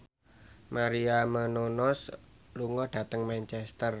Maria Menounos lunga dhateng Manchester